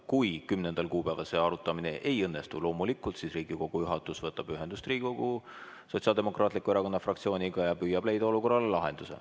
Kui 10. kuupäeval see arutamine ei õnnestu, siis loomulikult Riigikogu juhatus võtab ühendust Riigikogu Sotsiaaldemokraatliku Erakonna fraktsiooniga ja püüab leida olukorrale lahenduse.